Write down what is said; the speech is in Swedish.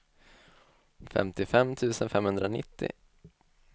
femtiofem tusen femhundranittio